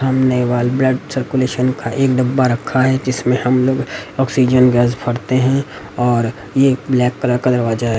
Blood circulation का एक डब्बा रखा है जिसमे हम लोग ऑक्सिसन गैस भरते हैं और एक ब्लैक कलर का दरवाजा है।